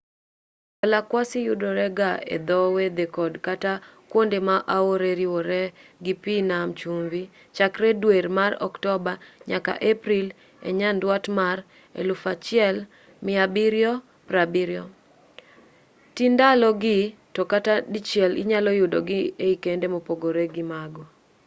balakwasi yudore ga e dho wedhe kod kata kuonde ma aore riworee gi pi nam chumbi chakre dwe mar oktoba nyaka april e nyanduat mar 1770 ti ndalo gi to ka dichiel inyalo yudgi e kinde mopogore gi mago